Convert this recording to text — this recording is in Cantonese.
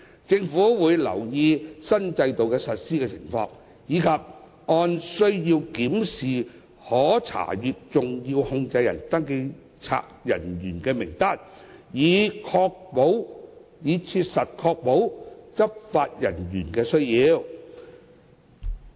政府會留意新制度的實施情況，以及按需要檢視可查閱登記冊人員的名單，以確保切合執法需要。